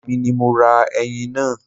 Èmi ni mo ra ẹyin náà